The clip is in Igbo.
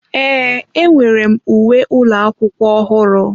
Ee, enwere m uwe ụlọ akwụkwọ ọhụrụ.